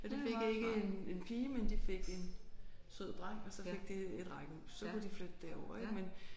Ja de fik ikke en en pige men de fik en sød dreng og så fik de et rækkehus så kunne de flytte derover ik men